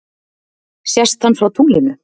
sést hann frá tunglinu